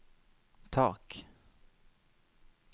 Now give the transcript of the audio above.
tak